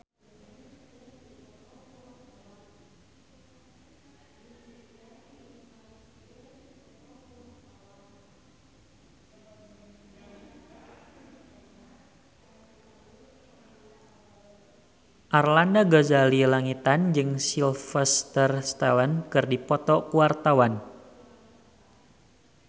Arlanda Ghazali Langitan jeung Sylvester Stallone keur dipoto ku wartawan